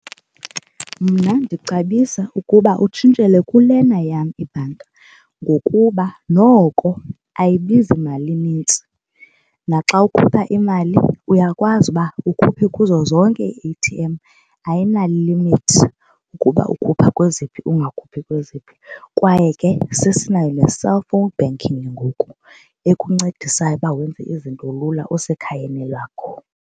Mna ndicebisa ukuba utshintshele kulena yam ibhanki ngokuba noko ayibizi mali inintsi naxa ukhupha imali uyakwazi uba ukhuphe kuzo zonke ii-A_T_M ayinamalimithi ukuba ukhupha kweziphi ungakhuphi kweziphi. Kwaye ke sesinayo ne-cellphone banking ngoku ekuncedisayo ukuba wenze izinto lula usekhayeni lakho.